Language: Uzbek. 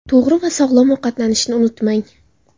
To‘g‘ri va sog‘lom ovqatlanishni unutmang.